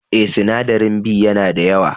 Eh, sinadarin B ya na da yawa.